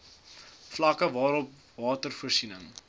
vlakke waarop watervoorsiening